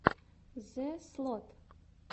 зэслот